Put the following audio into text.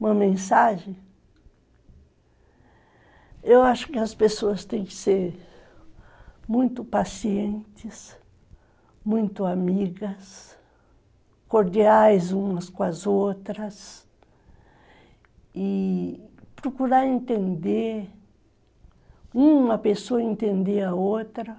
uma mensagem, eu acho que as pessoas têm que ser muito pacientes, muito amigas, cordiais umas com as outras e procurar entender, uma pessoa entender a outra